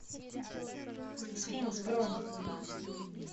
сфинкс бронь